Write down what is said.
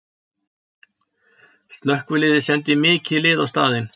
Slökkviliðið sendi mikið lið á staðinn